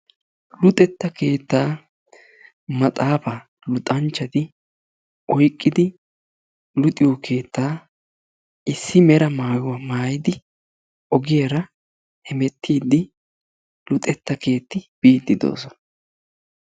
Luxetta keettaa maaxaafaa luxanchchati oyqqidi luxiyo keettaa issi mera maayuwa maayidi ogiyaara hemettiidi luxetta keettaa biidi doosona.